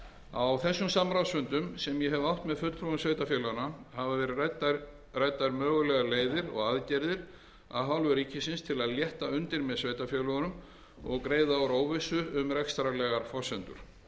á þeim samráðsfundum sem ég hef átt með fulltrúum sveitarfélaganna hafa verið ræddar mögulegar leiðir og aðgerðir af hálfu ríkisins til að létta undir með sveitarfélögunum og greiða úr óvissu um rekstrarlegar forsendur